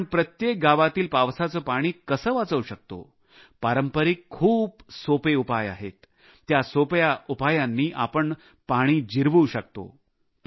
आपण प्रत्येक गावातील पावसाचे पाणी कसे वाचवू शकतो पारंपारिक खूप सोपे उपाय आहेत त्या सोप्या उपायांनी आपण पाणी जिरवू शकतो